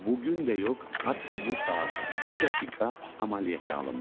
Bu gün də yox, hətta bu saat, bu dəqiqə əməliyyata alınmalı.